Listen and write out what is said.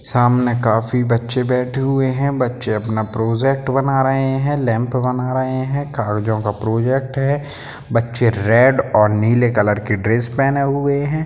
सामने काफी बच्चे बैठे हुए हैं बच्चे अपना प्रोजेक्ट बना रहे हैं लैंप बना रहे हैं का प्रोजेक्ट है बच्चे लाल और नीले कलर की ड्रेस पहने हुए हैं।